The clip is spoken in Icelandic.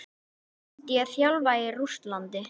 Myndi ég þjálfa í Rússlandi?